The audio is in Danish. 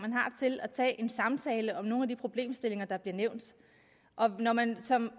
man har til at tage en samtale om nogle af de problemstillinger der bliver nævnt når man som